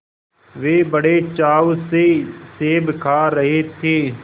वे बड़े चाव से सेब खा रहे थे